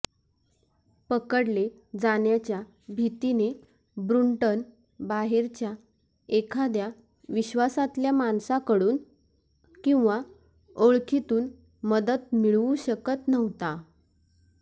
पकडले जाण्याच्या भीतीने ब्रुंटन बाहेरच्या एखाद्या विश्वासातल्या माणसाकडून किंवा ओळखीतून मदत मिळवू शकत नव्हता